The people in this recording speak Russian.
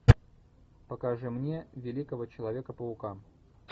покажи мне великого человека паука